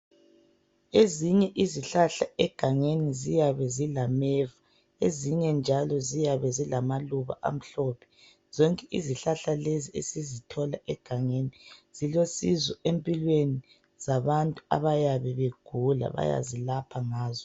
Ezinye izihlahla egangeni ziyabe zilameva ezinye njalo ziyabe zilamaluba amhlophe. Zonke izihlahla lezi esizithola egangeni zilosizo empilweni zabantu abayabe begula. Bayazilapha ngazo.